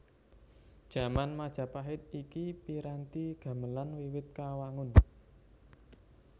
Jaman Majapahit iki piranti gamelan wiwit kawangun